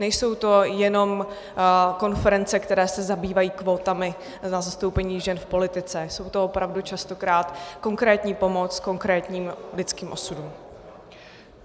Nejsou to jenom konference, které se zabývají kvótami na zastoupení žen v politice, je to opravdu častokrát konkrétní pomoc konkrétním lidským osudům.